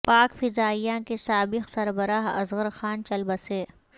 پاک فضائیہ کے سابق سربراہ اصغر خان چل بسے